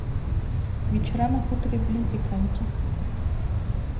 вечера на хуторе близ диканьки